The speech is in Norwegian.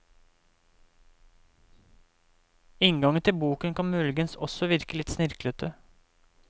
Inngangen til boken kan muligens også virke litt snirklete.